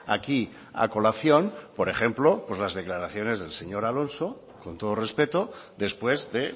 aquí a colación por ejemplo las declaraciones del señor alonso con todo respeto después de